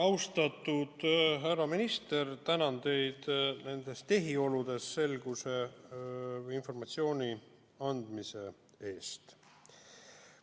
Austatud härra minister, tänan teid nendes tehioludes selguse loomise ja informatsiooni andmise eest!